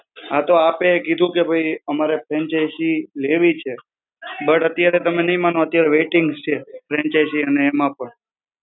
હા, તો આપે કીધું કે ભઈ અમારે franchise લેવી છે, but અત્યારે તમે નહીં માનો અત્યારે waiting છે, franchise અને એમાં પણ.